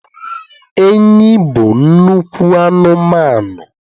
enyí bụ nnukwu anụmanụ